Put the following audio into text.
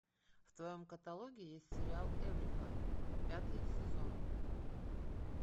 в твоем каталоге есть сериал эврика пятый сезон